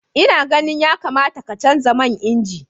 Ina ganin yakamata ka canza man inji.